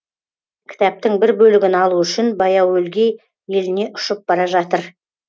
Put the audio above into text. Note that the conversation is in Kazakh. кітаптың бір бөлігін алу үшін баяуөлгей еліне ұшып бара жатыр